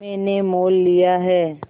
मैंने मोल लिया है